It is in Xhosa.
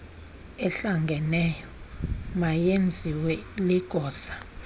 ehlangeneyo mayenziwe ligosa